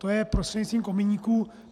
To je prostřednictvím kominíků.